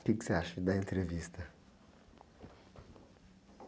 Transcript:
O quê que você acha da entrevista?